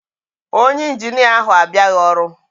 Onye Injinia ahu abịaghị ọrụ.